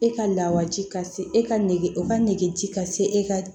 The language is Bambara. E ka lawaji ka se e ka nege o ka nege ci ka se e ka